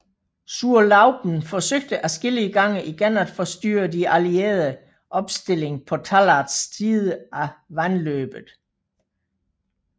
Zurlauben forsøgte adskillige gange igen at forstyrre de allieredes opstilling på Tallards side af vandløbet